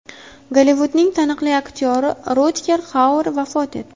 Gollivudning taniqli aktyori Rutger Xauer vafot etdi.